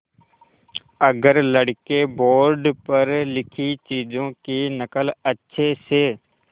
अगर लड़के बोर्ड पर लिखी चीज़ों की नकल अच्छे से